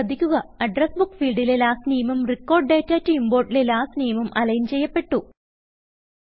ശ്രദ്ധിക്കുക address book ഫീൽഡിലെ last name ഉം റെക്കോർഡ് ഡാറ്റ ടോ ഇംപോർട്ട് ലെ ലാസ്റ്റ് നാമെ ഉം alignചെയ്യപ്പെട്ടു